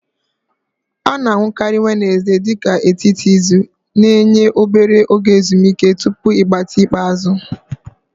A na-ahụkarị Wenezde dị ka etiti izu, na-enye obere oge ezumike tupu ịgbatị ikpeazụ.